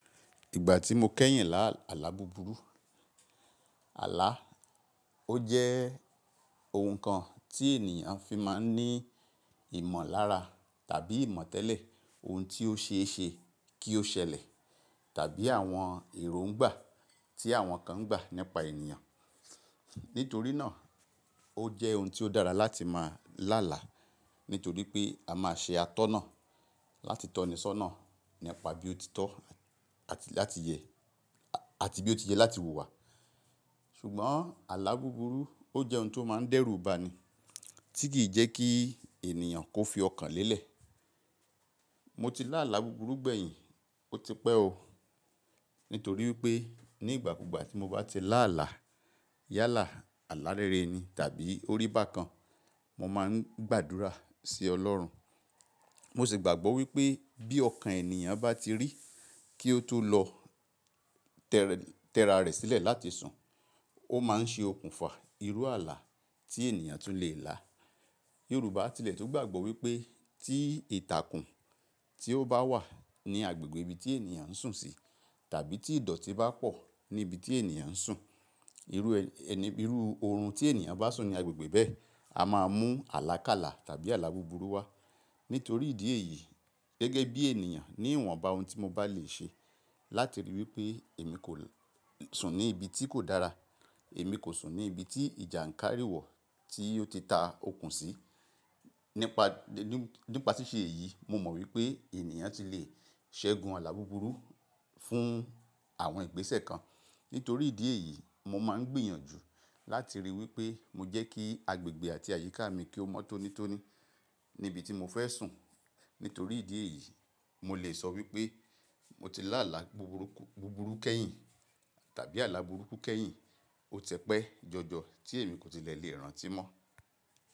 Ìgbà tí mo kẹ́yìn lá àlá búburú. Àlá, ó jẹ́ ohun kan tí ènìyàn fi máa ń ní ìmọ̀lára tàbí ìmọ̀tẹ́lẹ̀ ohun tí ó ṣe é ṣe kí ó ṣẹlẹ̀ tàbí àwọn èròǹgbà tí àwọn kan ń gbà nípa ènìyàn. Nítorí náà, ó jẹ́ ohun tí ó dára láti máa lá àlá nítorí pé a máa ṣe atọ́nà láti tọnisọ́nà nípa bí ó ti tọ́ àti láti yẹ a-àti bí ó ti ye láti wù wá. Ṣùgbọ́n àlá búburú ó jẹ́ ohun tó máa ń dẹ́rùbà ni tí kì í jẹ́ kí ènìyàn kó fi ọkàn lélẹ̀. Mo ti lá àlá búburú gbẹ̀yìn, ó ti pẹ́ o. Nítorí pé ní ìgbà ku gba tí mo bá ti lá àlá yálà, àlá rere ni tàbí orí bà kan, mo máa ń gbàdúrà sí Ọlọ́run. Mo sì gbàgbọ́ wípé bí ọkàn ènìyàn bá ti rí kí ó tó lọ tẹra rẹ̀ sílẹ̀ láti sùn, ó máa ń ṣe okùnfà irú àlá tí ènìyàn tún lè lá. Yorùbá tilẹ̀ tó gbàgbọ́ wípé tí ìtàkùn tí ó bá wà ní agbègbè ibi tí ènìyàn ń sùn sí tàbí tí ìdọ̀tí bá pọ̀ ní ibi tí ènìyàn ń sùn, irú ẹni iru oorun tí ènìyàn bá sùn ní agbègbè bẹ́ẹ̀, a máa mú àlákálà tàbí àlá búburú wá. Nítorí ìdí èyí gẹ́gẹ́ bí ènìyàn ní ìwọ̀nba ohun tí mo bá lè ṣe láti rí wípé èmi kò sùn ní ibi tí kò dára, èmi kò sùn ní ibi tí ìjàǹkárí wọ̀ tí ó ti ta okùn sí. Nípa, nípa tíṣe èyí mo mọ̀ wípé ènìyàn ti lè ṣẹ́gun àlá búburú fún àwọn ìgbésẹ̀ kan. Nítorí ìdí èyí mo máa ń gbìyànjú láti rí i wípé mo jẹ́ kí agbègbè àti àyíká mi kí ó mọ́tónítóní ní ibi tí mo fẹ́ sùn. Nítorí ìdí èyí mo lè sọ wípé mo ti lá àlá buburu búburú kẹ́yìn tàbí àlá búburú kẹ́yìn ó tẹpẹ́ jọjọ tí èmi kò tilẹ̀ lè rántí mọ́.